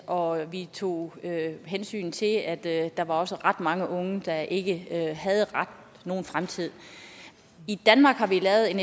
og vi tog hensyn til at at der også var ret mange unge der ikke havde nogen fremtid i danmark har vi lavet en